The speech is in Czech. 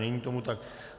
Není tomu tak.